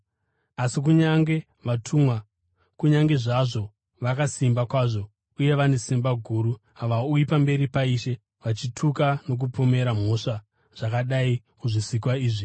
asi kunyange vatumwa, kunyange zvazvo vakasimba kwazvo uye vane simba guru, havauyi pamberi paIshe vachituka nokupomera mhosva zvakadai kuzvisikwa izvi.